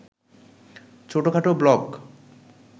ছোটখাটো ব্লক